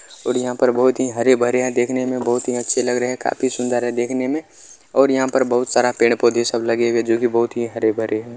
और यहां पर बहुत ही हरे-भरे देखने में बहुत अच्छे लग रहे है काफी सुंदर है देखने में और यहां पर बहुत सारा पेड़-पौधे सब लगे हुए है जो कि बहुत ही हरे-भरे है।